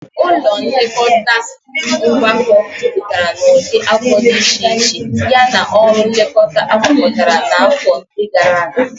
Ụlọ nlekọta ngwakọ jupụtara n'ụdị afọ dị iche iche yana ọrụ nlekọta agwakọtara na afọ ndi gara aga.